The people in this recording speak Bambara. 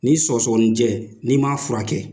Ni sɔgɔsɔgɔnijɛ n'i m'a furakɛ